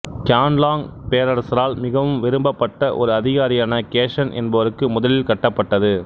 Qianlong பேரரசரால் மிகவும் விரும்பப்பட்ட ஒரு அதிகாரியான கேசன் என்பவருக்கு முதலில் கட்டப்பட்டது